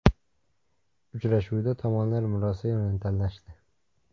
Uchrashuvda tomonlar murosa yo‘lini tanlashdi.